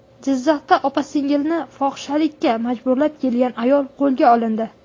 Jizzaxda opa-singilni fohishalikka majburlab kelgan ayol qo‘lga olindi.